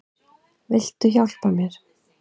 Viltu hjálpa mér?